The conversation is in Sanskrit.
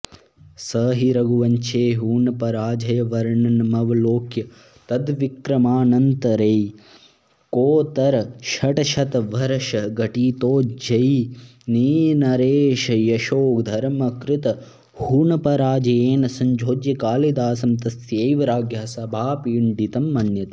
स हि रघुवंशे हूणपराजयवर्णनमवलोक्य तद्विक्रमानन्तरैकोत्तरषट्शतवर्षघटितोज्जयिनीनरेशयशोधर्मकृतहूणपराजयेन संयोज्य कालिदासं तस्यैव राज्ञः सभापण्डितं मन्यते